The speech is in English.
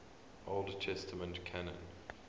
old testament canon